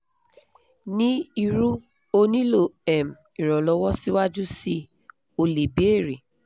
ni irú o nilo um Ìrànlọ́wọ́ síwájú sii o le bèèrè